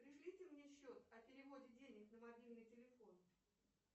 пришлите мне счет о переводе денег на мобильный телефон